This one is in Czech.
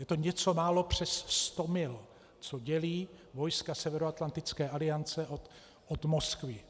Je to něco málo přes sto mil, co dělí vojska Severoatlantické aliance od Moskvy.